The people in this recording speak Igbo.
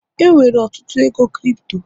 enwere ọtụtụ ego Kripto